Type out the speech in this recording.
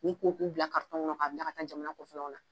K'u ko k'u bila karitɔn kɔnɔn ka bila ka taa jamana kɔfɛlaw la